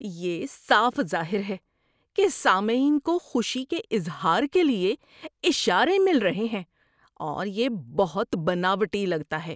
یہ صاف ظاہر ہے کہ سامعین کو خوشی کے اظہار کے لیے اشارے مل رہے ہیں اور یہ بہت بناوٹی لگتا ہے۔